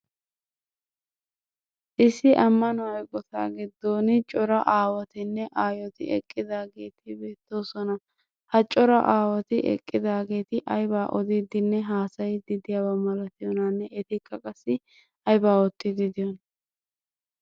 issi ammano eqotaa giddon cora aawatinne ayyoti eqqidaageti beettoosona. Ha cora aawati eqqidaageeti aybaa odiidinne haasayiidi diyaba malattiyoonaaane etikka qassi aybaa ootiidi diyoonaa?